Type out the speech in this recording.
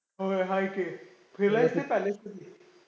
होय हाय की, फिरलायेस का palace मधीं?